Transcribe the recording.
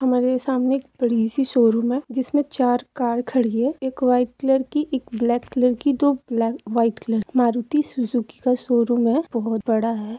हमारे सामने एक बड़ी सी शोरूम है जिसमे चार कार खड़ी है एक वाइट कलर की एक ब्लैक की दो बले-वाइट कलर की मारुती सुजुकी का शोरूम है बहुत बड़ा है।